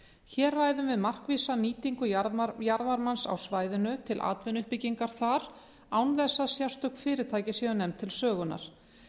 hér ræðum við markvissa nýtingu jarðvarmans á svæðinu til atvinnuuppbyggingar þar án þess að sérstök fyrirtæki séu nefnd til sögunnar